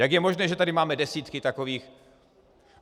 Jak je možné, že tady máme desítky takových?